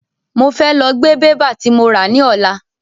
Mo fẹ lọ gbé bébà tí mo rà ní ọ̀la.